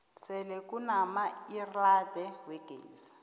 sele kunamaelrada wegezi